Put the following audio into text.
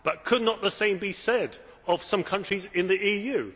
But could not the same be said of some countries in the EU?